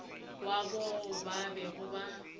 wa bao ba bego ba